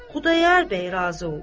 Xudayar bəy razı oldu.